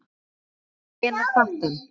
Hvenær datt hann?